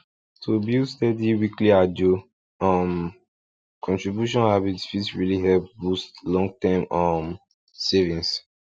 to build steady weekly ajo um contribution habit fit really help boost longterm um savings